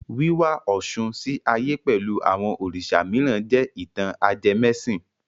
Wíwá Ọ̀ṣun sí ayé pẹ̀lú àwọn Òrìṣà mìíràn jẹ́ ìtàn ajẹmẹ́sìn.